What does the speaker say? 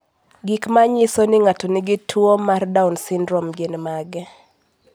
Gik manyiso ni ng'ato nigi tuwo mar Down syndrome gin mage?